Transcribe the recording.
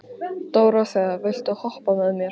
Dóróþea, viltu hoppa með mér?